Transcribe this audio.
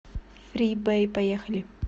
фрибэй поехали